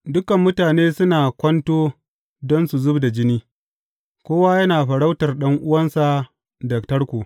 Dukan mutane suna kwanto don su zub da jini; kowa yana farautar ɗan’uwansa da tarko.